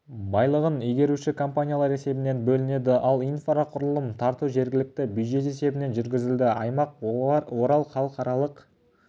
байлығын игеруші компаниялар есебінен бөлінеді ал инфрақұрылым тарту жергілікті бюджет есебінен жүргізіледі аймақ орал халықаралық